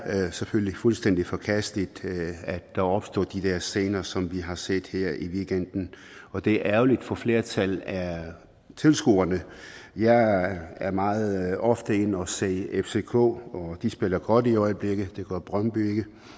selvfølgelig fuldstændig forkasteligt at der opstår scener som dem vi har set her i weekenden og det er ærgerligt for flertallet af tilskuerne jeg er meget ofte inde og se fck og de spiller godt i øjeblikket det gør brøndby